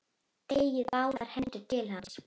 Teygir báðar hendur til hans.